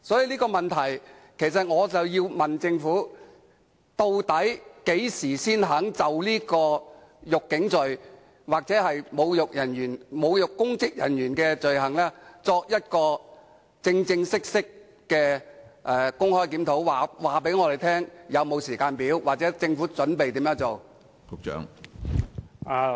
因此，我想問政府，究竟何時才肯就"辱警罪"或侮辱執法的公職人員的罪行展開正式的公開檢討工作，並告訴我們有關工作的時間表或政府準備怎樣做？